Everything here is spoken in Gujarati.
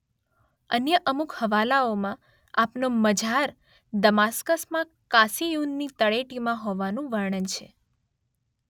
અન્ય અમુક હવાલાઓમાં આપનો મઝાર દમાસ્કસમાં કાસીયૂનની તળેટીમાં હોવાનું વર્ણન છે.